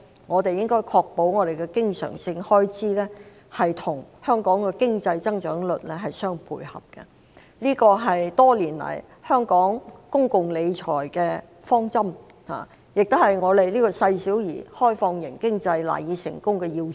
我們應確保經常性開支與香港的經濟增長率相配合，這是多年來香港公共理財的方針，亦是香港這個細小而開放型經濟賴以成功的要素。